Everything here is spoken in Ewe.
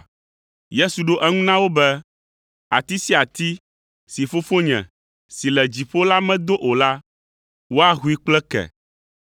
Yesu ɖo eŋu na wo be, “Ati sia ati si Fofonye si le dziƒo la medo o la, woahoe kple ke.